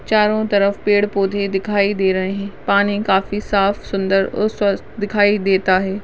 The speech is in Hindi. चारों तरफ पेड़ पौधे दिखाई दे रहे हैं पानी काफी साफ सुंदर और स्वच्छ दिखाई देता है।